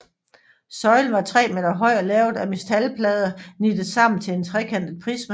Søjlen var 3 meter høj og lavet af metalplader nittet sammen til en trekantet prisme